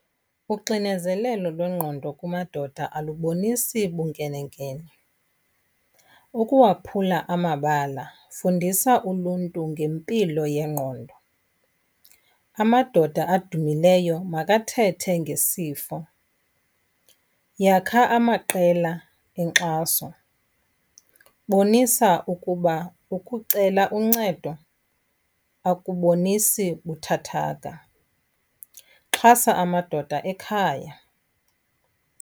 Uxinezelelo lwengqondo kumadoda alubonisi bunkenenkene. Ukuwaphula amabala fundisa uluntu ngempilo yengqondo, amadoda adumileyo makathethe ngesifo, yakha amaqela enkxaso, bonisa ukuba ukucela uncedo akubonisi buthathaka, xhasa amadoda ekhaya.